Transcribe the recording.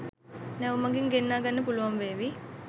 නැව් මගින් ගෙන්නා ගන්න පුළුවන් වේවි